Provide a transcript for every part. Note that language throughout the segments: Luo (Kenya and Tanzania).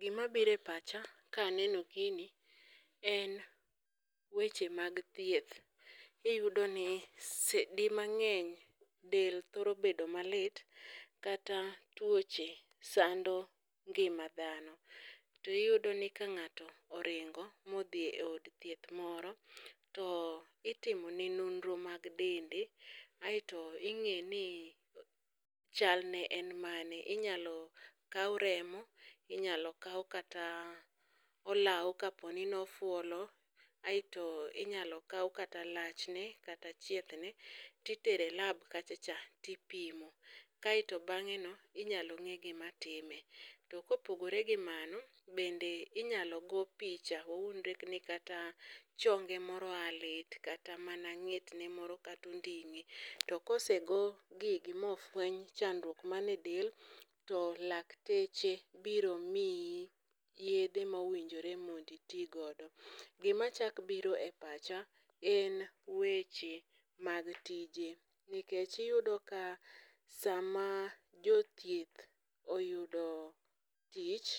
Gima bire pacha ka aneno gini en weche mag thieth, iyudo ni di mang'eny del thoro bedo malit. Kata tuoche sando ngima dhano. To iyudo ni ka ng'ato oringo modhi e od thieth moro to itimone nonro mag dende, aeto ing'e ni chalne en mane. Inyalo kaw remo, inyalo kaw kata olaw kaponi nofuolo, aeto inyalo kaw kata lachne kata chieth ne. titere lab kacha cha tipimo, kaeto bang'e no inyalo ng'e gima time. To kopogore gi mano, bende inyalo go picha, wawuondre ni kata chonge moro a lit, kata mana ng'etne moro katonding'e. To kose go gigi mofweny chandruok mane del, to lakteche biro miyi yedhe mowinjore monditi godo. Gima chak bire pacha en weche mag tije, nikech iyudo ka sama jothieth oyudo tich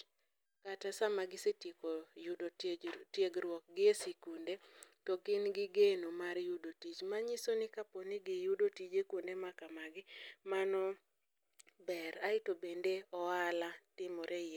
kata sama gisetieko yudo tiegruok gi e sikunde, to gin gi geno mar yudo tich. Manyiso ni kaponi giyudo tije kuonde ma kamagi, mano ber, aeto bende ohala timore e iye.